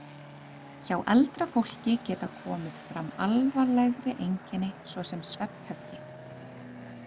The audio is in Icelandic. Hjá eldra fólki geta komið fram alvarlegri einkenni svo sem svefnhöfgi.